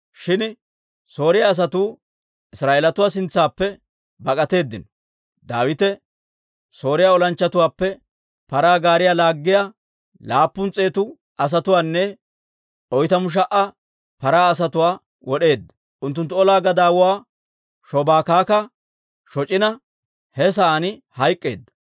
Shin Sooriyaa asatuu Israa'eelatuu sintsaappe bak'atteedino; Daawite Sooriyaa olanchchatuwaappe paraa gaariyaa laaggiyaa laappun s'eetu asatuwaanne oytamu sha"a paraa asatuwaa wod'eedda; unttunttu ola gadaawuwaa Shobaakakka shoc'ina, he sa'aan hayk'k'eedda.